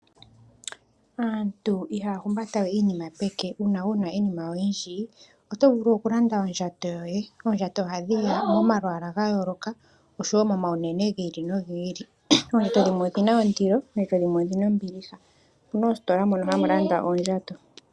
Aantu ihaya humbata we iinima peke. Uuna wu na iinima oyindji oto vulu okulanda ondjato yoye. Oondjato ohadhi ya momalwaala ga yooloka, oshowo momaunene gi ili nogi ili. Oondjato dhimwe odhi na ondilo, oondjato dhimwe odhi na ombiliha. Opu na oositola mono hamu landwa oondjato.